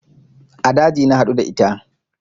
A daji na haɗu da ita